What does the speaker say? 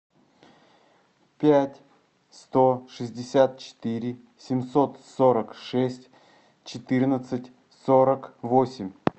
пять сто шестьдесят четыре семьсот сорок шесть четырнадцать сорок восемь